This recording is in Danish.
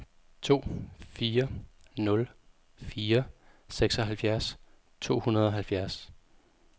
to fire nul fire seksoghalvfjerds to hundrede og halvfjerds